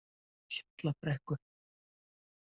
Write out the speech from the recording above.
Hjallabrekku